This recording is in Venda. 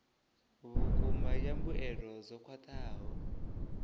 vhukuma ya mbuelo dzo khwathaho